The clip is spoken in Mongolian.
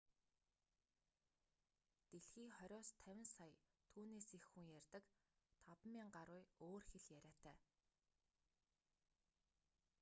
дэлхий хориос 50 сая түүнээс их хүн ярьдаг 5000 гаруй өөр хэл яриатай